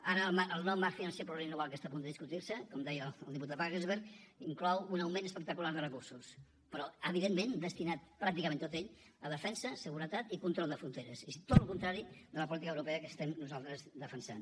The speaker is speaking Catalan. ara el nou marc financer plurianual que està a punt de discutir se com deia el diputat wagensberg inclou un augment espectacular de recursos però evidentment destinat pràcticament tot ell a defensa seguretat i control de fronteres és tot el contrari de la política europea que estem nosaltres defensant